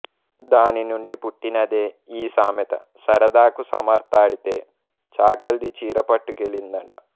దాని నుండి పుట్టినదే ఈ సామెత సరదాకు సమర్తాడితె చాకల్ది చీర పట్టు కెళ్లిందట